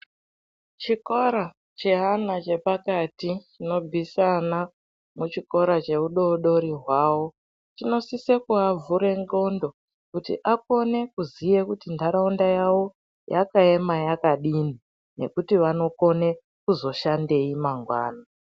Chikora cheana chepakati chinobvisa ana muchikora cheudodori hwawo chinosise kuvavhure ndxondo kuti akone kuziye kuti ndaraunda yavo yakaema yakadini nekuti vanokone kuzoshandeyi mangwani.